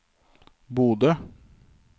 Bodø